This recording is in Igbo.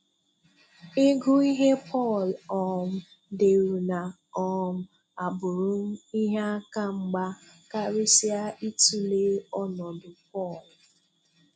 Ị gụ ihe Pọl um deru na um abụrụ m ihe aka mgba, karịsịa itụle ọnọdụ Paul.